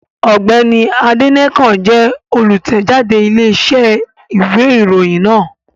Ọ̀gbẹ́ni Adénẹ́kàn jẹ́ olùtẹ̀jáde Iléeṣẹ́ ìwé ìròyìn náà